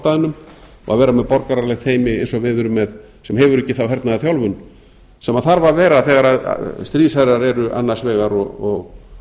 staðnum og vera með borgaralegt teymi eins og við erum með sem hefur ekki þá hernaðarþjálfun sem þarf að vera þegar stríðsherrar eru annars vegar og